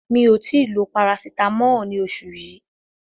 Mi ò tí ì lo Parasitamọ́ọ̀ ní oṣù yí.